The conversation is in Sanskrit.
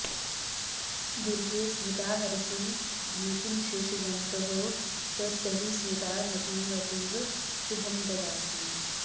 दुर्गे स्मृता हरसि भीतिमशेषजन्तोः स्व्स्थैः स्मृता मतिमतीव शुभं ददासि